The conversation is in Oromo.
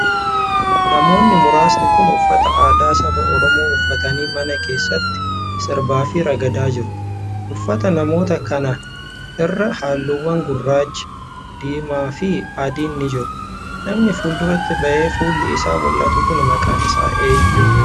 Namoonni muraasni kun, uffata aadaa saba Oromoo uffatanii mana keessatti sirbaa fi ragadaa jiru. Uffata Namoota kanaa irra haalluuwwan gurraacha, diimaa fi adiin ni jiru. Namni fuulduratti bahee fuulli isaa mul'atu kun maqaan isaa eenyu?